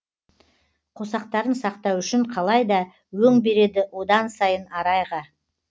қосақтарын сақтау үшін қалай да өң береді одан сайын арайға